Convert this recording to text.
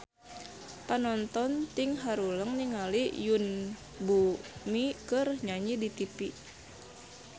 Panonton ting haruleng ningali Yoon Bomi keur nyanyi di tipi